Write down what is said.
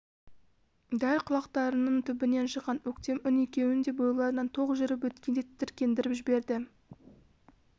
дәл құлақтарының түбінен шыққан өктем үн екеуін де бойларынан ток жүріп өткендей тітіркендіріп жіберді